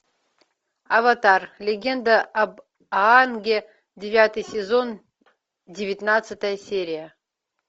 аватар легенда об аанге девятый сезон девятнадцатая серия